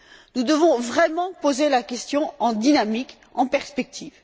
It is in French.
Nous devons vraiment poser la question en dynamique, en perspective.